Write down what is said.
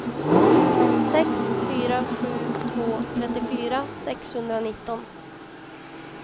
sex fyra sju två trettiofyra sexhundranitton